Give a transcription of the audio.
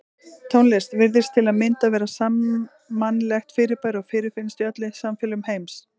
Tónlist virðist til að mynda vera sammannlegt fyrirbæri og fyrirfinnst í öllum samfélögum heims.